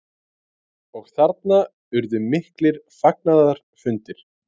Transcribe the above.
Og þarna urðu miklir fagnaðarfundir?